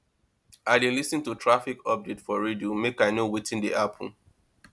i dey lis ten to traffic update for radio make i know wetin dey happen